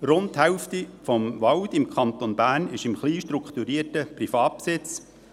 Rund die Hälfte des Waldes im Kanton Bern ist im kleinstrukturierten Privatbesitz.